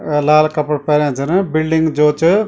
अ लाल कपड़ा पैरया छन बिल्डिंग जाे च --